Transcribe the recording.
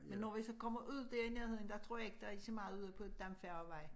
Men når vi så kommer ud dér i nærheden der tror jeg ikke der er så meget derude på Dampfærgevej